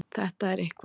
Þetta er eitthvað.